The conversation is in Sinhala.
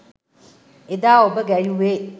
එදා ඔබ ගැයුවේ